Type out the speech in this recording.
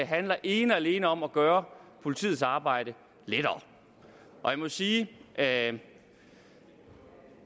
handler ene og alene om at gøre politiets arbejde lettere og jeg må sige at